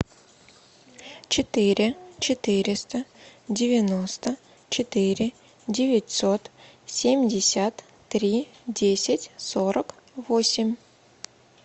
четыре четыреста девяносто четыре девятьсот семьдесят три десять сорок восемь